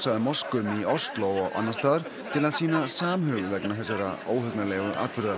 að moskum í Osló og annars staðar til að sýna samhug vegna þessara óhugnanlegu atburða